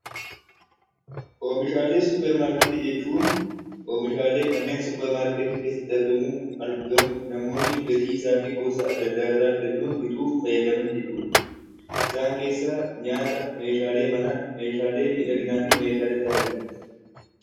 Oomishaalee suuparmaarketii jechuun oomishaalee kanneen suuparmaarketii keessatti argamu namoonni gatii isaa fi gosa adda addaarraa filachuun bituuf fayyadaman jechuudha. Isaan keessaa nyaata, meeshaalee manaa, meeshaalee miidhaginaa fi meeshaalee tajaajilaati.